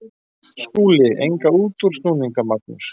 SKÚLI: Enga útúrsnúninga, Magnús.